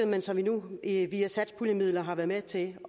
men som vi nu via satspuljemidler har været med til